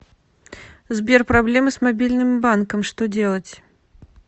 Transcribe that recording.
сбер проблемы с мобильным банком что делать